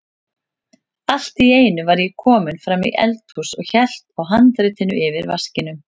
Allt í einu var ég kominn fram í eldhús og hélt á handritinu yfir vaskinum.